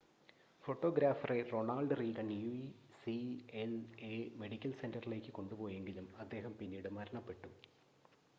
ഫോട്ടോഗ്രാഫറെ Ronald Reagan UCLA medical സെൻ്ററിലേക്ക് കൊണ്ടുപോയെങ്കിലും അദ്ദേഹം പിന്നീട് മരണപ്പെട്ടു